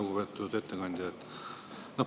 Lugupeetud ettekandja!